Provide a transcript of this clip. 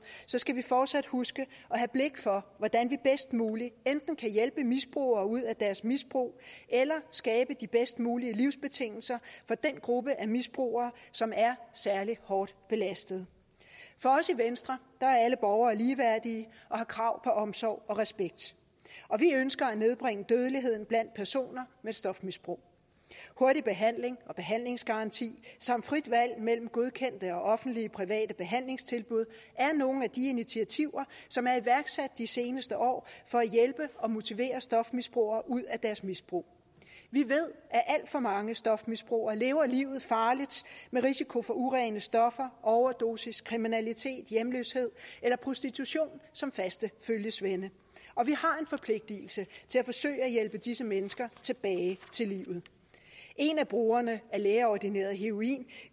skal vi fortsat huske at have blik for hvordan vi bedst muligt enten kan hjælpe misbrugere ud af deres misbrug eller skabe de bedst mulige livsbetingelser for den gruppe af misbrugere som er særlig hårdt belastet for os i venstre er alle borgere ligeværdige og har krav på omsorg og respekt og vi ønsker at nedbringe dødeligheden blandt personer med stofmisbrug hurtig behandling og behandlingsgaranti samt frit valg mellem godkendte offentlige og private behandlingstilbud er nogle af de initiativer som er iværksat de seneste år for at hjælpe og motivere stofmisbrugere ud af deres misbrug vi ved at alt for mange stofmisbrugere lever livet farligt med risiko for urene stoffer overdosis kriminalitet hjemløshed eller prostitution som faste følgesvende og vi har en forpligtigelse til at forsøge at hjælpe disse mennesker tilbage til livet en af brugerne af lægeordineret heroin